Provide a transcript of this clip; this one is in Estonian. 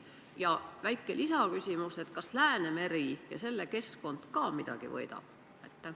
Ja väike lisaküsimus: kas Läänemeri ja selle keskkond ka midagi võidab?